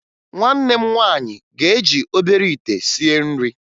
Nwanne m nwaanyị ga-eji obere ite sie nri